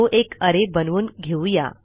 तो एक अरे बनवून घेऊ या